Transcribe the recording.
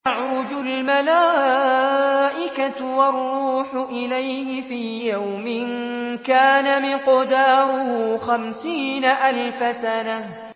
تَعْرُجُ الْمَلَائِكَةُ وَالرُّوحُ إِلَيْهِ فِي يَوْمٍ كَانَ مِقْدَارُهُ خَمْسِينَ أَلْفَ سَنَةٍ